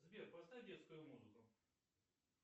сбер поставь детскую музыку